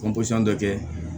dɔ kɛ